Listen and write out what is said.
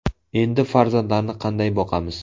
Endi farzandlarni qanday boqamiz?